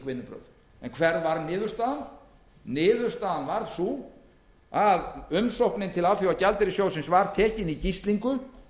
vinnubrögð hver varð niðurstaðan niðurstaðan varð sú að umsóknin til alþjóðagjaldeyrissjóðsins var tekin í gíslingu